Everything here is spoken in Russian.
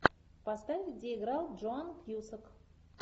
поставь где играл джоан кьюсак